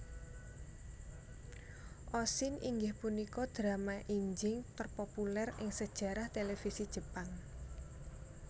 Oshin inggih punika drama injing terpopuler ing sejarah televisi Jepang